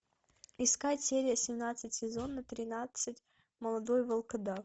искать серия семнадцать сезона тринадцать молодой волкодав